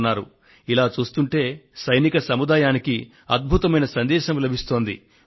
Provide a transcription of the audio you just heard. అందుకని యావత్తు సైనిక సముదాయానికి అద్భుతమైన సందేశం లభిస్తోంది